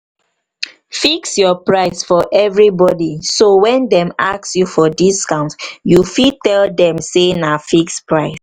fix your price for everybody so when dem ask for discount you fit tell dem say na fixed price